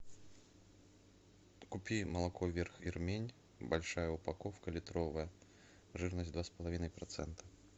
купи молоко верх ирмень большая упаковка литровая жирность два с половиной процента